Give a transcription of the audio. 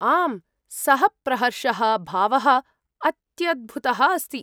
आम्, सः प्रहर्षः भावः अत्यद्भुतः अस्ति।